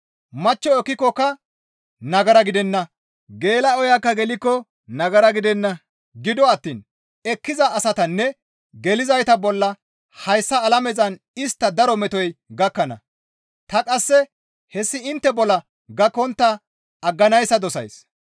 Machcho ekkikokka nagara gidenna. Geela7oyakka gelikko nagara gidenna; gido attiin ekkiza asatanne gelizayta bolla hayssa alamezan istta daro metoy gakkana; ta qasse hessi intte bolla gakkontta agganayssa dosays.